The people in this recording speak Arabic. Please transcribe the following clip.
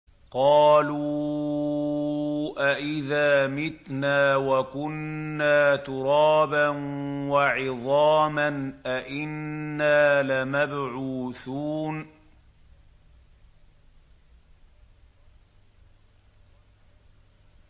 قَالُوا أَإِذَا مِتْنَا وَكُنَّا تُرَابًا وَعِظَامًا أَإِنَّا لَمَبْعُوثُونَ